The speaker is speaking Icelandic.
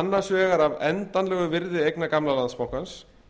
annars vegar af endanlegu virði eigna gamla landsbankans